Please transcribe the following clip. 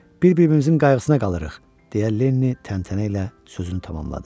Bir-birimizin qayğısına qalırıq, deyə Lenni təntənə ilə sözünü tamamladı.